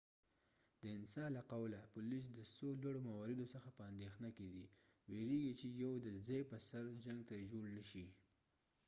د انسا له قوله پولیس د څو لوړو مواردو څخه په اندیښنه کې دي، ویرېږي چې یو د ځای پر سر جنګ ترې جوړ نه شي